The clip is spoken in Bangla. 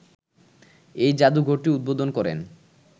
এই জাদুঘরটি উদ্বোধন করেন